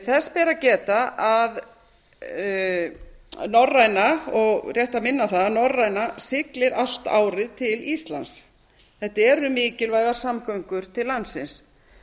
þess ber að geta og rétt að minna á það að norræna siglir allt árið til íslands þetta eru mikilvægar samgöngur til landsins